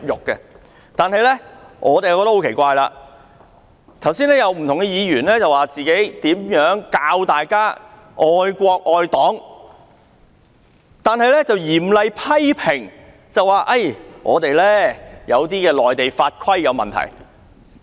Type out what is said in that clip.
奇怪的是，剛才有不同議員教大家如何愛國愛黨，但又嚴厲批評有些內地法規有問題。